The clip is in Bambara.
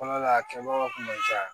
Fɔlɔ la a kɛbagaw kun ma ca